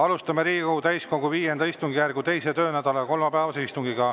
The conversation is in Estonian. Alustame Riigikogu täiskogu V istungjärgu 2. töönädala kolmapäevast istungit.